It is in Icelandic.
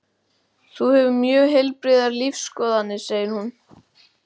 Þú hefur mjög heilbrigðar lífsskoðanir, segir hún.